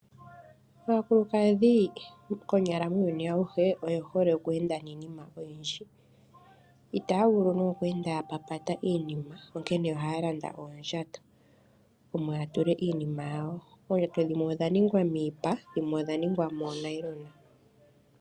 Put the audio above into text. Aakulukadhi konyala muuyuni auhe, oye hole oku enda niinima oyindji. Itaa vulu nande okweenda ya papata. Oondjato dhimwe odha ningwa miipa omanga dhimwe odha ningwa moo nailona.